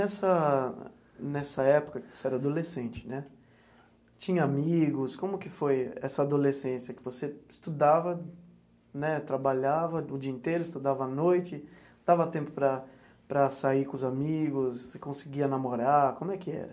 Nessa nessa época que você era adolescente né, tinha amigos, como que foi essa adolescência que você estudava né, trabalhava o dia inteiro, estudava à noite, dava tempo para para sair com os amigos, você conseguia namorar, como é que era?